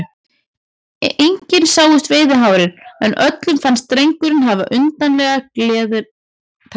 Engin sáust veiðihárin, en öllum fannst drengurinn hafa undarlega gleiðar tær.